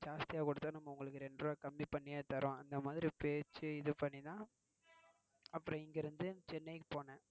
ஜாஸ்தி ஆஹ் குடுத்தா நம்ம உங்களுக்கு இரண்டு ரூபாய் கம்மி பன்னி தாறோம் அந்தமாதிரி பேசி இது பன்னி தான். அப்புறம் இங்க இருந்து சென்னைக்கு போனேன்.